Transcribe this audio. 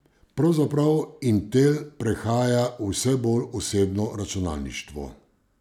Pravzaprav Intel prehaja v vse bolj osebno računalništvo.